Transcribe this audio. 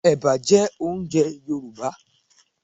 Ẹ̀bà jẹ́ oúnjẹ Yorùbá